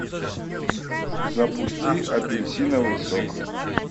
запусти апельсиновый сок